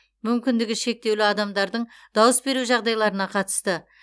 мүмкіндігі шектеулі адамдардың дауыс беру жағдайларына қатысты